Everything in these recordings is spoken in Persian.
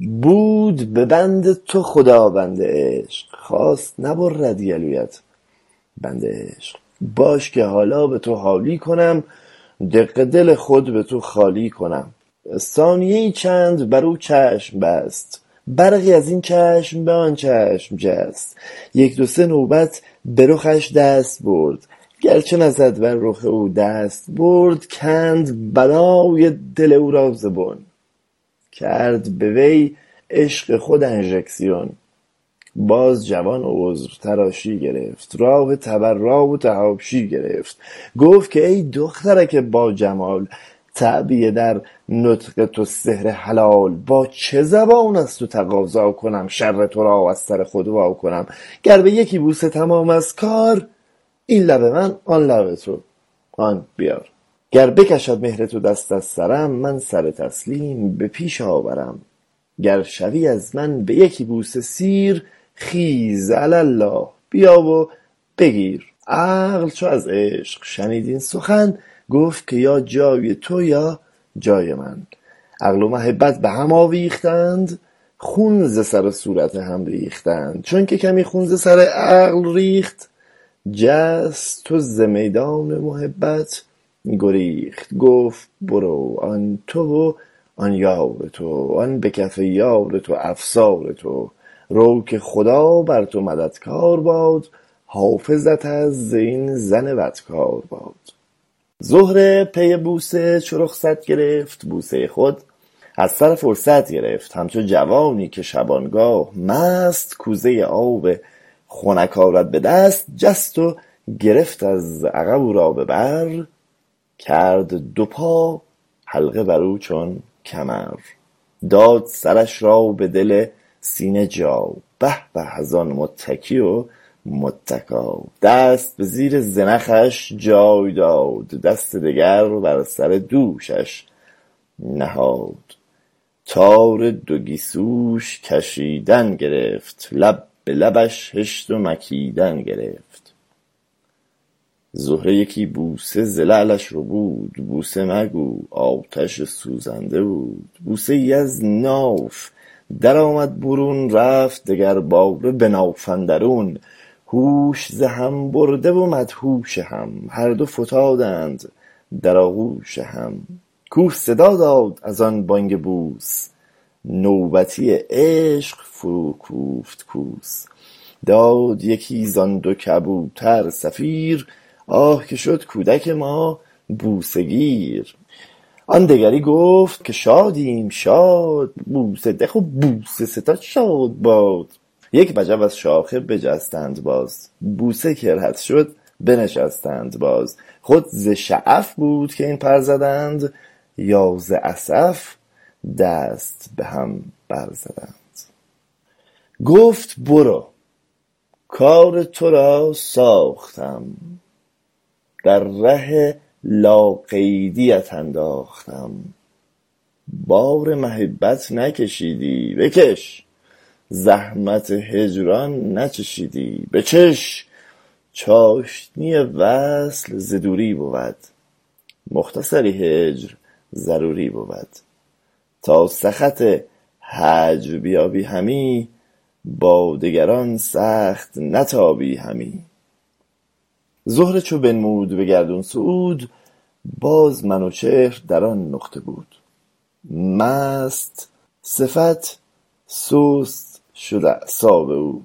بود به بند تو خداوند عشق خواست نبرد گلویت بند عشق باش که حالا به تو حالی کنم دق دل خود به تو خالی کنم ثانیه ای چند بر او چشم بست برقی از این چشم به آن چشم جست یک دوسه نوبت به رخش دست برد گرچه نزد بر رخ او دستبرد کند بنای دل او را ز بن کرد به وی عشق خودانژکسیون باز جوان عذر تراشی گرفت راه تبری و فحاشی گرفت گفت که ای دخترک با جمال تعبیه در نطق تو سحر حلال با چه زبان از تو تقاضا کنم شر ترا از سر خود وا کنم گر به یکی بوسه تمام است کار این لب من آن لب تو هان بیار گر بکشد مهر تو دست از سرم من سر تسلیم به پیش آورم گر شوی از من به یکی بوسه سیر خیز علی الله بیا و بگیر عقل چو از عشق شنید این سخن گفت که یا جای تو یا جای من عقل و محبت بهم آویختند خون ز سر و صورت هم ریختند چون که کمی خون ز سر عقل ریخت جست وز میدان محبت گریخت گفت برو آن تو و آن یار تو آن به کف یار تو افسار تو رو که خدا بر تو مددکار باد حافظت از این زن بدکارباد زهره پی بوسه چو رخصت گرفت بوسۀ خود از سر فرصت گرفت همچو جوانی که شبان گاه مست کوزۀ آب خنک آرد به دست جست و گرفت از عقب او را به بر کرد دو پا حلقه بر او چون کمر داد سرش را به دل سینه جا به به از آن متکی و متکا دست به زیر زنخش جای داد دست دگر بر سر دوشش نهاد تار دو گیسوش کشیدن گرفت لب به لبش هشت و مکیدن گرفت زهره یکی بوسه ز لعلش ربود بوسه مگو آتش سوزنده بود بوسه ای از ناف در آمد برون رفت دگر باره به ناف اندرون هوش ز هم برده و مدهوش هم هر دو فتادند در آغوش هم کوه صدا داد از آن بانگ بوس نوبتی عشق فرو کوفت کوس داد یکی زان دو کبوتر صغیر آه که شد کودک ما بوسه گیر آن دگری گفت که شادیم شاد بوسه ده و بوسه ستان شاد باد یک وجب از شاخه بجستند باز بوسه که رد شد بنشستند باز خود ز شعف بود که این پر زدند یا ز اسف دست به هم بر زدند گفت برو کار تو را ساختم در ره لاقیدیت انداختم بار محبت نکشیدی بکش زحمت هجران نچشیدی بچش چاشنی وصل ز دوری بود مختصری هجر ضروری بود تا سخط هجر بیابی همی با دگران سخت نتابی همی زهره چو بنمود به گردون صعود باز منوچهر در آن نقطه بود مست صفت سست شد اعصاب او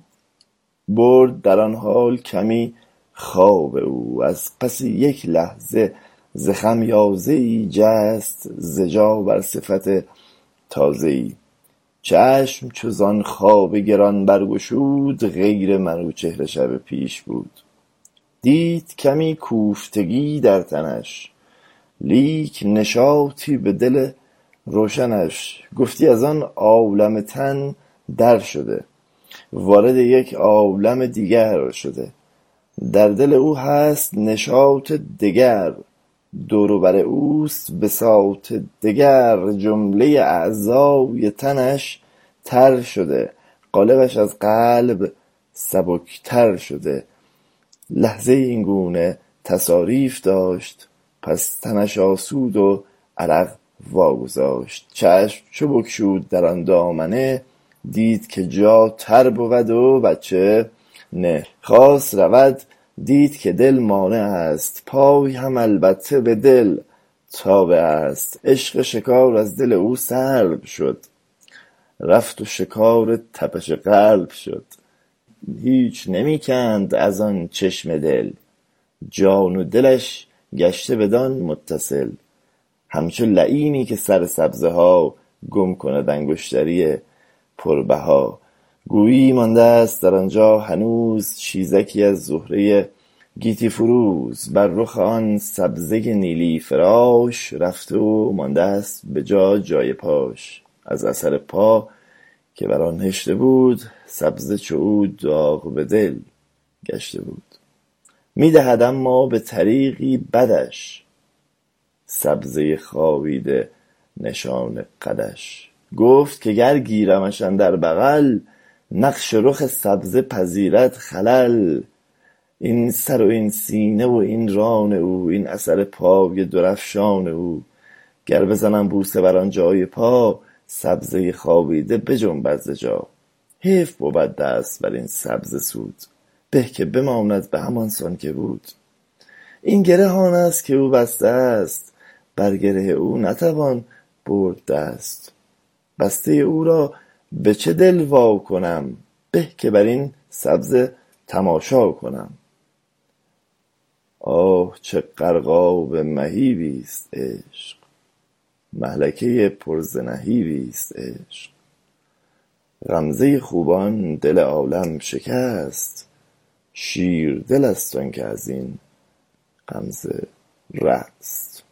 برد در آن حال کمی خواب او از پس یک لحظه ز خمیازه ای جست ز جا بر صفت تازه ای چشم چوزان خواب گران بر گشود غیر منوچهر شب پیش بود دید کمی کوفتگی در تنش لیک نشاطی به دل روشنش گفتی از آن عالم تن در شده وارد یک عالم دیگر شده در دل او هست نشاط دگر دور و بر اوست بساط دگر جملۀ اعضای تنش تر شده قالبش از قبل سبکتر شده لحظه ای این گونه تعاریف داشت پس تنش آسود و عرق واگذاشت چشم چو بگشود در آن دامنه دید که جا تر بود و بچه نه خواست رود دید که دل مانع است پای هم البته به دل تابع است عشق شکار از دل او سلب شد رفت و شکار تپش قلب شد هیچ نمی کند از آن چشمه دل جان و دلش گشته بدان متصل همچو لییمی که سر سبزه ها گم کند انگشتری پر بها گویی مانده است در آن جا هنوز چیزکی از زمرۀ گیتی فروز بر رخ آن سبزۀ نیلی فراش رفته و مانده است به جا جای پاش از اثر پا که بر آن هشته بود سبزه چو او داغ به دل گشته بود می دهد اما به طریقی بدش سبزۀ خوابیده نشان قدش گفت که گر گیرمش اندر بغل نقش رخ سبزه پذیرد خلل این سرو این سینه و این ران او این اثر پای در افشان او گر بزنم بوسه بر آن جای پای سبزۀ خوابیده بجنبد ز جای حیف بود دست بر این سبزه سود به که بماند به همان سان که بود این گره آن است که او بسته است بر گره او نتوان برد دست بستۀ او را به چه دل وا کنم به که بر این سبزه تماشا کنم آه چه غرقاب مهیبی است عشق مهلکۀ پر ز نهیبی است عشق غمزۀ خوبان دل عالم شکست شیر دل است آن که از این غمزه رست